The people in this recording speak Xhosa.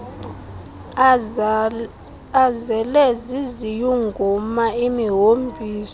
azele ziziyunguma imihombiso